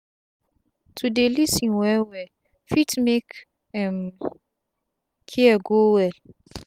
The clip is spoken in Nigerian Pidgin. to dey lis ten well well fit make um care go well